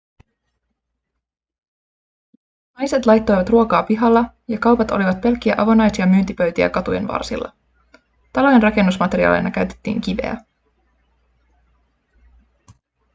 naiset laittoivat ruokaa pihalla ja kaupat olivat pelkkiä avonaisia myyntipöytiä katujen varsilla talojen rakennusmateriaalina käytettiin kiveä